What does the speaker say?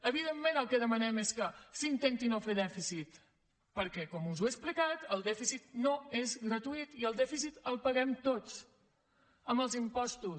evidentment el que demanem és que s’intenti no fer dèficit perquè com us he explicat el dèficit no és gratuït i el dèficit el paguem tots amb els impostos